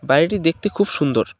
বাড়িটি দেখতে খুব সুন্দর।